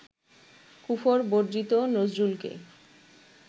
কুফর-বর্জিত নজরুলকে